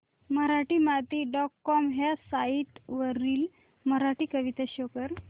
Marathimati dot com ह्या site वरील मराठी कविता शो कर